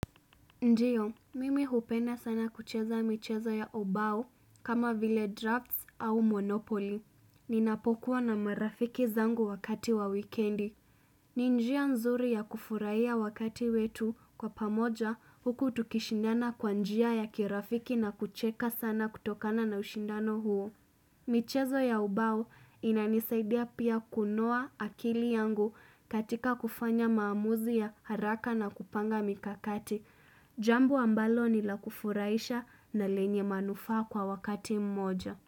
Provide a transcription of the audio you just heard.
Ndio, mimi hupenda sana kucheza michezo ya obao kama vile drafts au monopoli. Ninapokuwa na marafiki zangu wakati wa wikendi. Ni njia nzuri ya kufuraiya wakati wetu kwa pamoja huku tukishindana kwa njia ya kirafiki na kucheka sana kutokana na ushindano huo. Michezo ya ubao inanisaidia pia kunoa akili yangu katika kufanya maamuzi ya haraka na kupanga mikakati. Jambo ambalo ni la kufuraisha na lenye manufaa kwa wakati mmoja.